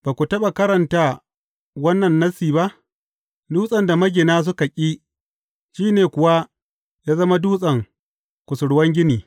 Ba ku taɓa karanta wannan Nassi ba, Dutsen da magina suka ƙi, shi ne kuwa ya zama dutsen kusurwan gini.